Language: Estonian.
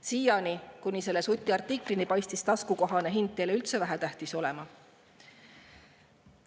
Siiani, kuni selle Suti artiklini, paistis taskukohane hind teile üldse vähetähtis olevat.